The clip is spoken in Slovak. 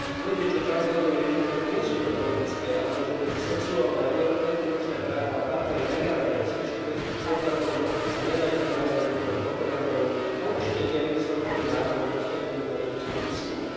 Tvrdiť, že transrodové identity nie sú patologické alebo že medzi sexuálne a reprodukčné práva patrí legálny a bezpečný prístup k potratom, sa nedá inak nazvať ako len propagandou a určite nie legislatívnym návrhom postaveným na vedeckom výskume.